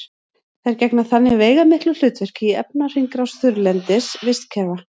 þær gegna þannig veigamiklu hlutverki í efnahringrás þurrlendis vistkerfa